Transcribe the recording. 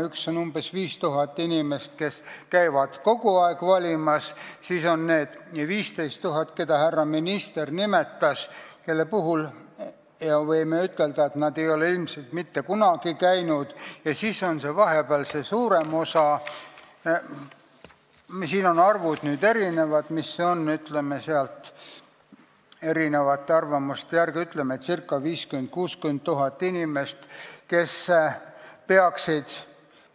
Esiteks on umbes 5000 inimest, kes käivad kogu aeg valimas, siis on need 15 000, keda härra minister nimetas ja kelle kohta me võime ütelda, et nad ei ole ilmselt mitte kunagi valimas käinud, ja siis on see suurem osa – siin on arvud erinevad –, erinevate arvamuste järgi, ütleme, ca 50 000 – 60 000 inimest, kes peaksid